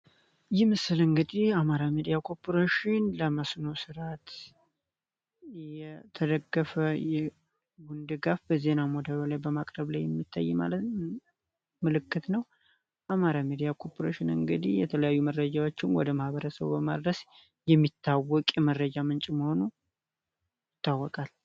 አማራ ሚዲያ ኮርፖሬሽን ለመስኖ ስርዓት የተደገፈ ዜና ወደ ማቅረብ ላይ የሚጠየቅ ምልክት ነው ሚዲያ ኮርፖሬሽን እንግዲህ የተለያዩ መረጃዎችን ወደ ማበረሰብ በመድረስ የሚታወቅ የመረጃ ምንጭ መሆኑን ይታወቃል